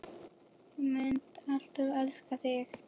Ég mun alltaf elska þig.